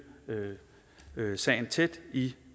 sagen tæt i